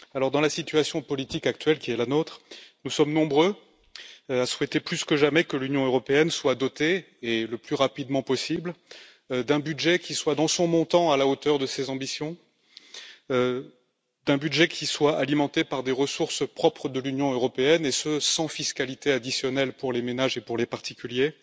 Dans la situation politique actuelle qui est la nôtre, nous sommes nombreux à souhaiter plus que jamais que l'Union européenne soit dotée, et le plus rapidement possible, d'un budget dont le montant soit à la hauteur de ses ambitions et qui soit alimenté par des ressources propres de l'Union européenne, et ce sans fiscalité additionnelle pour les ménages et pour les particuliers.